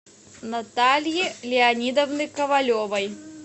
натальи леонидовны ковалевой